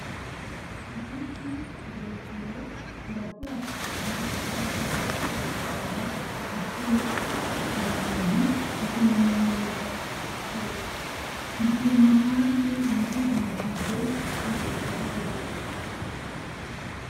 Igiti kirekire kirakura cane kandi kigantanga igitutu ku bantu n'akanyamuneza ku bikoko. Gituma kandi ibidukikije bigenda neza.